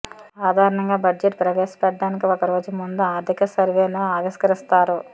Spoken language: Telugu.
సాధారణంగా బడ్జెట్ ప్రవేశపెట్టడానికి ఒక్క రోజు ముందు ఆర్థిక సర్వేను ఆవిష్కరిస్తారు